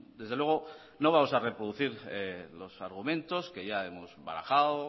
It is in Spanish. desde luego no vamos a reproducir los argumentos que ya hemos barajado